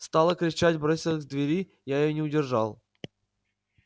стала кричать бросилась к двери я её не удержал